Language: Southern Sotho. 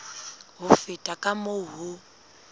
ho feta ka moo ho